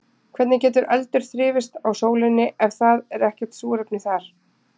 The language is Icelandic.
Hvernig getur eldur þrifist á sólinni ef það er ekkert súrefni þar?